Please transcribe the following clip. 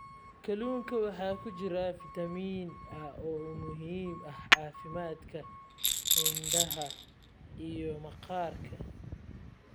Kalluunka waxaa ku jira fitamiin A oo muhiim u ah caafimaadka indhaha iyo maqaarka.